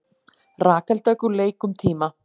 Rakel Dögg úr leik um tíma